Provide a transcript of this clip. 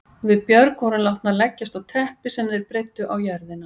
Við Björg vorum látnar leggjast á teppi sem þeir breiddu á jörðina.